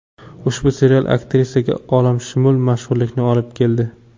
Ushbu serial aktrisaga olamshumul mashhurlikni olib keldi.